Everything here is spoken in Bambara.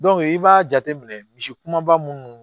i b'a jateminɛ misi kumaba munnu